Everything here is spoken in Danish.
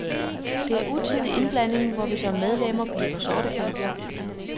Det er utidig indblanding, hvor vi som medlemmer bliver sorteper.